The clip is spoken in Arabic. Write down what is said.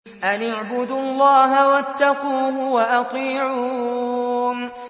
أَنِ اعْبُدُوا اللَّهَ وَاتَّقُوهُ وَأَطِيعُونِ